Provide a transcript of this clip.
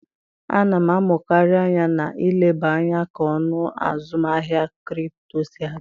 A na m amụkarị anya na-eleba anya ka ọnụ azụmaahịa kripto si aga.